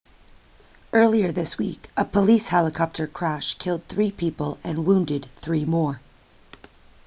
earlier this week a police helicopter crash killed three people and wounded three more